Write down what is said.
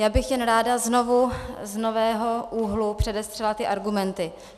Já bych jen ráda znovu, z nového úhlu předestřela ty argumenty.